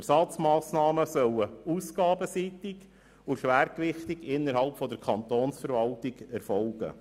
Die Ersatzmassnahmen sollen ausgabenseitig und schwergewichtig innerhalb der Kantonsverwaltung angesiedelt sein.